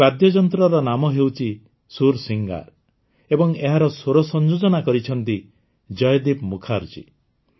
ଏହି ବାଦ୍ୟଯନ୍ତ୍ରର ନାମ ହେଉଛି ସୂର୍ସିଙ୍ଗାର୍ ଏବଂ ଏହାର ସ୍ୱର ସଂଯୋଜନା କରିଛନ୍ତି ଜୟଦୀପ୍ ମୁଖାର୍ଜୀ